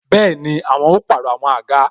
Bẹẹni, àwọn ó pàrọ̀ àwọn àga